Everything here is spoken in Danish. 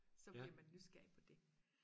så bliver man nysgerrig på det